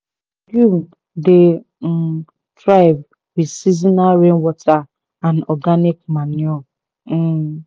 dey um thrive with seasonal rainwater and organic manure." um